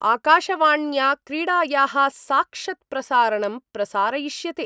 आकाशवाण्या क्रीडाया: साक्षत्प्रसारणं प्रसारयिष्यते।